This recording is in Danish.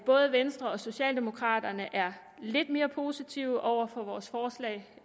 både venstre og socialdemokraterne er lidt mere positive over for vores forslag